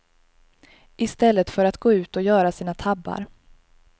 I stället för att gå ut och göra sina tabbar.